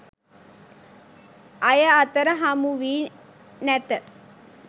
අය අතර හමු වී නැත.